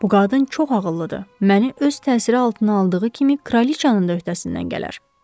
Bu qadın çox ağıllıdır, məni öz təsiri altına aldığı kimi kraliçanın da öhdəsindən gələr.